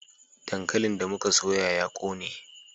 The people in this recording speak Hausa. Dankalin da mu ka soya ya ƙone